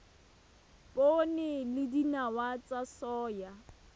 poone le dinawa tsa soya